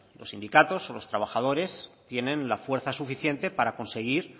los sindicatos o los trabajadores tienen la fuerza suficiente para conseguir